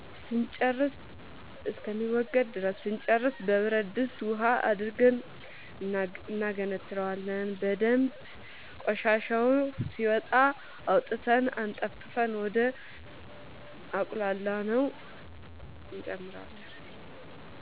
እስከሚወገድ ድረስ ስንጨርስ በብረድስት ውሃ አድርገን እናገነትረዋለን በደንብ ቆሻሻው ሲወጣ አውጥተን አጠንፍፈን ወደ አቁላላነው